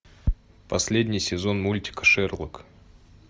последний сезон мультика шерлок